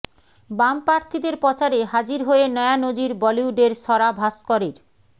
বাম প্রার্থীদের প্রচারে হাজির হয়ে নয়া নজির বলিউডের স্বরা ভাস্করের